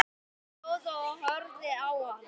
Stóð og horfði á hana.